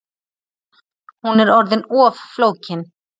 Hún er orðin of flókin